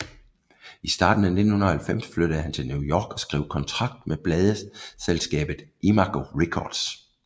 I starten af 1990 flyttede han til New York og skrev kontrakt med pladsselskabet Imago Records